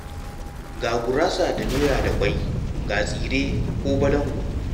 Ga gurasa da doya da ƙwai, ga tsire ko balangu.